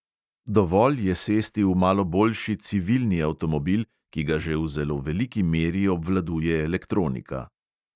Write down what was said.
Dovolj je sesti v malo boljši "civilni" avtomobil, ki ga že v zelo veliki meri obvladuje elektronika.